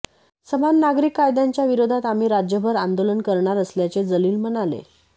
समान नागरीक कायद्याच्या विरोधात आम्ही राज्यभर आंदोलन करणार असल्याचे जलील म्हणाले